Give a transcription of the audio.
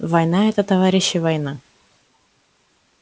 война это товарищи война